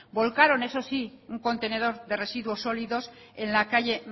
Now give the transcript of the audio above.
volcaron eso sí un contenedor de residuos sólidos en la calle